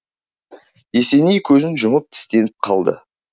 есеней көзін жұмып тістеніп қалды